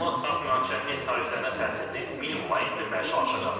Donald Tramp münaqişənin neft tariflərinə təsirini minimuma endirməyə çalışacaq.